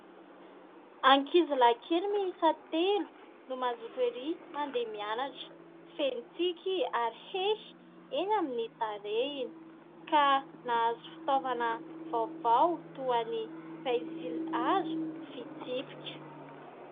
Ankizilahy kely miisa telo no mazoto erỳ mandeha mianatra. Feno tsiky ary hehy eny amin'ny tarehiny; ka nahazo fitaovana vaovao toa ny pensilihazo, fitsipika.